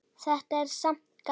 Þetta er samt gaman.